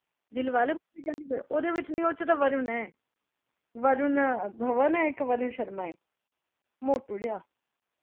ਦਿਲਵਾਲੇ ਪੁੱਛੀ ਜਾਂਦੀ ਪਈ। ਉਹਦੇ ਵਿੱਚ ਨਈਂ ਉਹਦੇ ਚ ਤਾਂ ਵਰੁਣ ਐਂ। ਵਰੁਣ ਧਵਨ ਐ ਇੱਕ ਵਰੁਣ ਸ਼ਰਮਾ ਐ। ਮੌਟੂ ਜਿਹਾ।